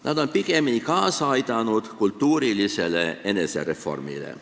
Nad on pigemini kaasa aidanud kultuurilisele enesereformile.